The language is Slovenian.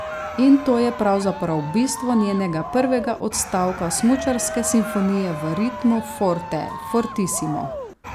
In to je pravzaprav bistvo njenega prvega odstavka smučarske simfonije v ritmu forte, fortissimo ...